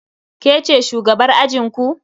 Ke ce shugabar ajinku?